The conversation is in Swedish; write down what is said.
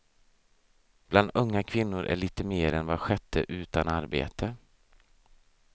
Bland unga kvinnor är lite mer än var sjätte utan arbete.